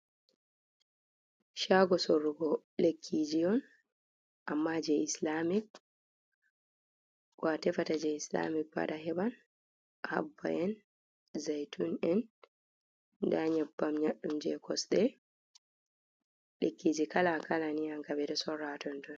Shago sorrugo lekkiji on, amma jei islamik. Ko a tefata je islamik pat a heban. habba en, zaytun’ en, ɗon nyebbam nyaɗɗum je kosɗe. Lekkiji kala-kala ni an kam ɓeɗo sora ha tonton.